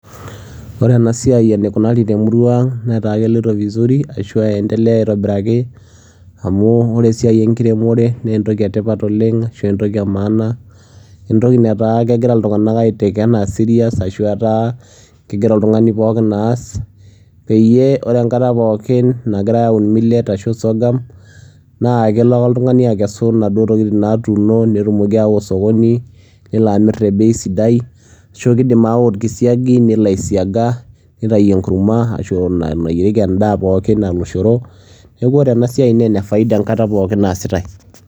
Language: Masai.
ore ena siai eneikunari temutrua anga netaa keloito vizuri aashu eendelea aitobiraki. amu ore esiai enkiremore naa entoki etipat oleng. ashu entoki emaana. entoki netaa kegira iltunganak ai take anaa serious ashu enaa etaa kegira oltungani ookin aas. peyie ore enkata pookin nagirae aun millet ashu sorghum naa kelo ake oltungani akesu intokitin natuuno, netumoki aawa osokoni nelo amr tebei sidai, ashu kidim aawa orkisiagi nelo aisiaga, nitayu enkurma shu nayierieki edaa pookin aa oloshoro. neeku ore enasiai naa enetipat enkata pookin naasitae.